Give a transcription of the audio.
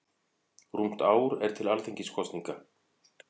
Rúmt ár er til Alþingiskosninga.